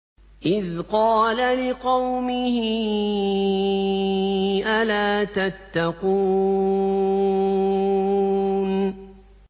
إِذْ قَالَ لِقَوْمِهِ أَلَا تَتَّقُونَ